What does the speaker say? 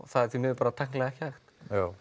það er því miður bara tæknilega ekki hægt